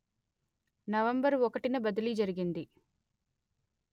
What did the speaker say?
November ఒకటిన బదిలీ జరిగింది